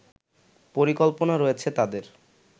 পরিকল্পনা রয়েছে তাদের